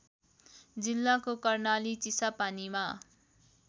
जिल्लाको कर्णाली चिसापानीमा